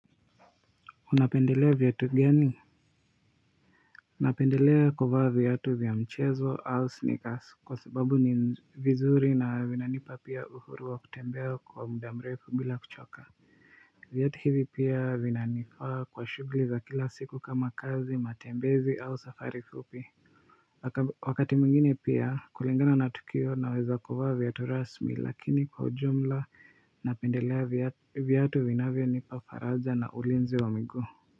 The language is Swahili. Unapendelea viatu gani? Napendelea kuvaa viatu vya mchezo au sneakers kwa sababu ni vizuri na vinanipa pia uhuru wa kutembea kwa muda mrefu bila kuchoka viatu hivi pia vinanifaa kwa shughuli za kila siku kama kazi matembezi au safari fupi wakati mwingine pia kulingana na tukio naweza kuvaa viatu rasmi lakini kwa ujumla napendelea viatu vinavyonipa faraja na ulinzi wa miguu.